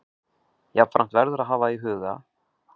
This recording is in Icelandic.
Jafnframt verður að hafa í huga